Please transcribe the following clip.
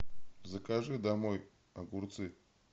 закажи домой огурцы